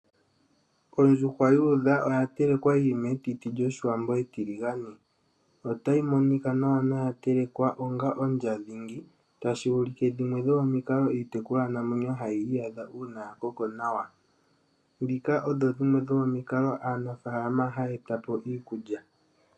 Ondjuhwa yuudha oya telekwa yili metiti lyoshiwambo etiligane. Otayi monika nawa noya telekwa onga ondja dhingi tashi ulike dhimwe dhomikalo iitekulwa namwenyo hayi iyadha uuna ya koko nawa . Ndhika odho dhimwe dho momikalo aanafaalama haya eta po iikulya.